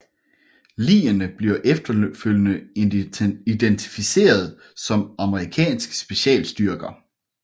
Ligene bliver efterfølgende identificeret som amerikanske specialstyrker